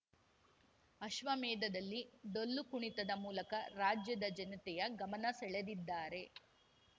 ಅಶ್ವಮೇಧದಲ್ಲಿ ಡೊಳ್ಳು ಕುಣಿತದ ಮೂಲಕ ರಾಜ್ಯದ ಜನತೆಯ ಗಮನ ಸೆಳೆದಿದ್ದಾರೆ